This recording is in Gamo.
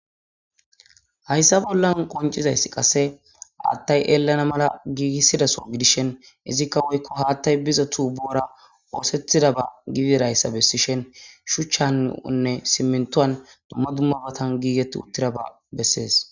Haysa bola qonc'izaysi qase hatay elana mala gigisida soho gidishin izika woyko hatay biza tubora osetidaba gidiraysa besishen shuchane simintuwan duma duma matan gigeti utiraba beses.